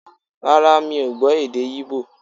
Rárá, mi ò gbọ́ èdè Ígbò